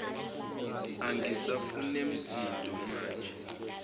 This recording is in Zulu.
angisafune msindo maje